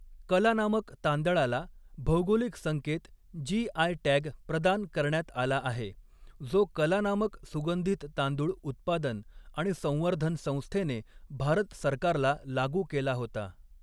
कलानामक तांदळाला भौगोलिक संकेत जी.आय. टॅग प्रदान करण्यात आला आहे, जो कलानामक सुगंधित तांदूळ उत्पादन आणि संवर्धन संस्थेने भारत सरकारला लागू केला होता.